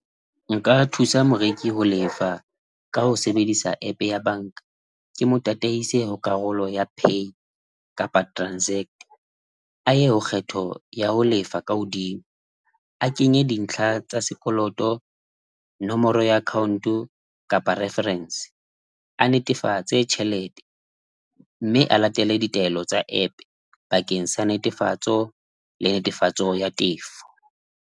Nka thusa moreki ho lefa ka ho sebedisa app ya banka, ke mo tataise ho karolo ya pay kapa transact a ye ho kgetho ya ho lefa ka hodimo. A kenye dintlha tsa sekoloto, nomoro ya account-o kapa reference a netefatse tjhelete mme a latele ditaelo tsa app bakeng sa netefatso le netefatso ya tefo.